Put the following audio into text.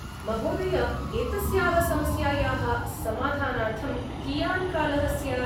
महोदय! एतस्याः समस्यायाः समाधानार्थं कियान् कालः स्यात् ?